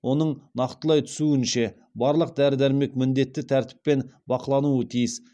оның нақтылай түсуінше барлық дәрі дәрмек міндетті тәртіппен бақылануы тиіс